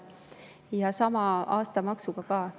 Ja sama kehtib aastamaksu kohta.